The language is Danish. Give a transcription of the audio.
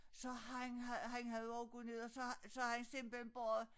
Så han havde han havde også gået ned og så så havde han simpelthen båret